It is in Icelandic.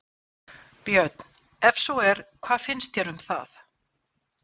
Björn: Ef svo er, hvað finnst þér um það?